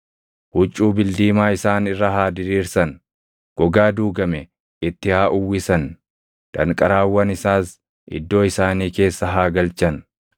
Huccuu bildiimaa isaan irra haa diriirsan; gogaa duugame itti haa uwwisan; danqaraawwan isaas iddoo isaanii keessa haa galchan.